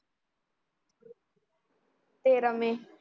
तेरा मे